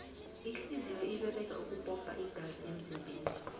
ihliziyo iberega ukupompa igazi emzimbeni